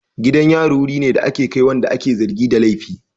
Gidan yari wuri ne da ake kai wanda ake zargi da laifi.